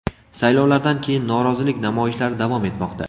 Saylovlardan keyin norozilik namoyishlari davom etmoqda.